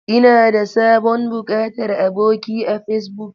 Ina da sabon buƙatar aboki a Facebook.